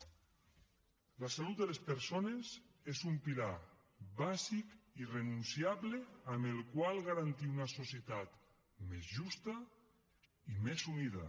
la salut de les persones és un pilar bàsic irrenunciable amb el qual garantir una societat més justa i més unida